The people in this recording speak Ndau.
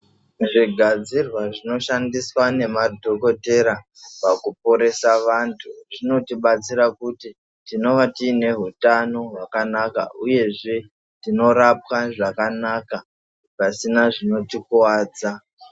Zvigadzirwa zvinoshandiswa ngemadhokotera pakuporesa vantu zvinotibatsira kuti tinova tiine hutano hwakanaka uyezve tinorapwa zvakanaka pasina zvinotikuvadza.